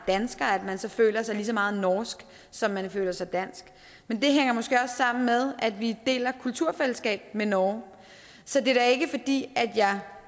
dansker så føler sig lige så meget norsk som man føler sig dansk men det hænger måske også sammen med at vi deler kulturfællesskab med norge så det er da ikke fordi jeg